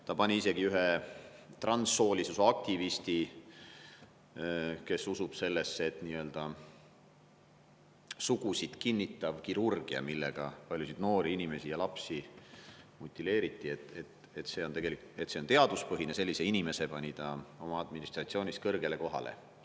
Ta pani isegi ühe transsooliste aktivisti, kes usub sellesse, et nii-öelda sugusid kinnitav kirurgia, millega paljusid noori inimesi ja lapsi motiveeriti, on teaduspõhine – sellise inimese pani ta oma administratsioonis kõrgele kohale.